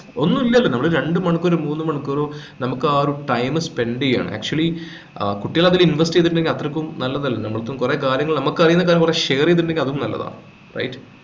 ഒന്ന് ഇല്ലല്ലോ നമ്മള് രണ്ടു മണിക്കൂർ മൂന്നു മണിക്കൂർ നമുക്ക് ആ ഒരു time spend ചെയ്യണം actually ആഹ് കുട്ടികൾ അതിൽ invest ചെയ്തിട്ടുണ്ടെങ്കിൽ അത്രക്കും നല്ലതല്ലേ ഞമ്മൾക്കും കൊറേ കാര്യങ്ങൾ നമ്മൾക്കറിയുന്ന കൊറേ share ചെയ്തിട്ടുണ്ടെങ്കിൽ അതും നല്ലതാ right